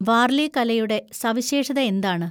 വാർലി കലയുടെ സവിശേഷത എന്താണ്?